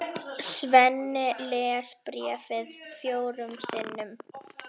Svenni les bréfið fjórum sinnum.